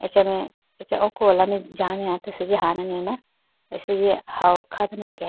achame acha oko wala mai jane hata asenji hane na asenji hawo kha dane akeyayi bi.